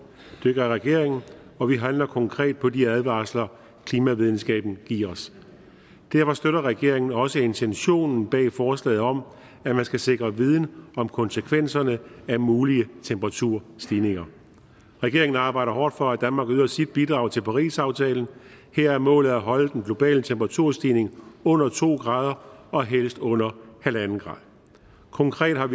det gør regeringen og vi handler konkret på de advarsler klimavidenskaben giver os derfor støtter regeringen også intentionen bag forslaget om at man skal sikre viden om konsekvenserne af mulige temperaturstigninger regeringen arbejder hårdt for at danmark yder sit bidrag til parisaftalen her er målet at holde den globale temperaturstigning under to grader og helst under en grader konkret har